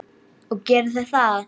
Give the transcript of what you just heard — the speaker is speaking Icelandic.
Og gerið þið það?